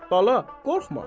Bala, qorxma.